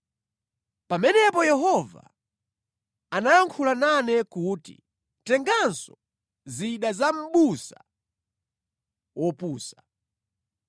Pamenepo Yehova anayankhula nane kuti, “Tenganso zida za mʼbusa wopusa.